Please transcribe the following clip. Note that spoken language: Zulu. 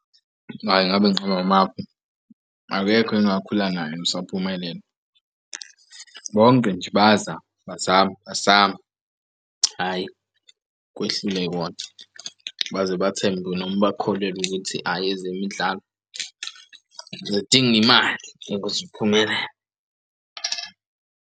Hhayi ngabe ngiqamba amapho, akekho engakhuluma naye osaphumelele. Bonke nje bayazama bazame bazame. Hhayi kwehlule kodwa. Baze bathembe noma bakholelwa ukuthi aye ezemidlalo zidinga imali ukuze uphumelele.